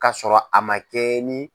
k'a sɔrɔ a ma kɛɲɛ ni.